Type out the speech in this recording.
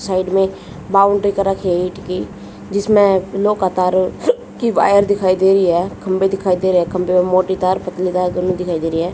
Side में boundary कर रखी है ईंट की जिसमें तारों की वायर दिखाई दे रही है खंभे दिखाई दे रहे खंभे और मोटी तार पतली तार दोनों दिखाई दे रही है।